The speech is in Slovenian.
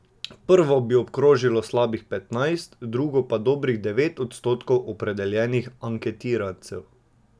Prvo bi obkrožilo slabih petnajst, drugo pa dobrih devet odstotkov opredeljenih anketirancev.